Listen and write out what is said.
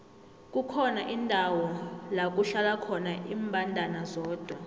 kukhona indawo lakuhlala khona imbandana zodwa